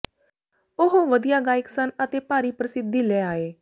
ਉਹ ਵਧੀਆ ਗਾਇਕ ਸਨ ਅਤੇ ਭਾਰੀ ਪ੍ਰਸਿੱਧੀ ਲੈ ਆਏ